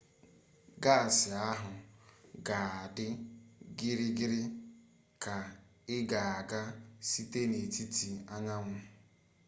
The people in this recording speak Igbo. gaasị ahụ ga-adị gịrịrị ka ị ga-aga site n'etiti anyanwụ